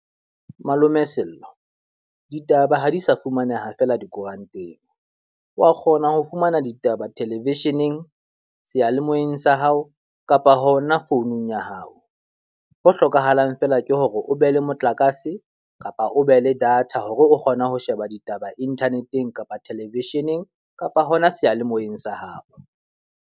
Malome Sello, ditaba ha di sa fumaneha fela dikoranteng. Wa kgona ho fumana ditaba television-eng, seyalemoyeng sa hao, kapa hona founung ya hao. Ho hlokahalang fela ke hore o be le motlakase kapa o be le data hore o kgona ho sheba ditaba internet-eng, kapa television-eng kapa hona seyalemoyeng sa hao.